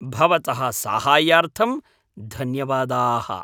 भवतः साहाय्यार्थं धन्यवादाः।